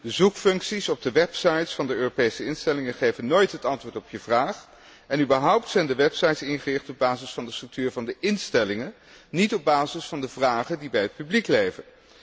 De zoekfuncties op de websites van de Europese instellingen geven nooit het antwoord op je vraag, en überhaupt zijn de websites ingericht op basis van de structuur van de instellingen, niet op basis van de vragen die bij het publiek